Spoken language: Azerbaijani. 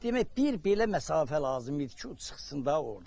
Demək bir belə məsafə lazım idi ki, o çıxsın da ordan.